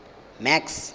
max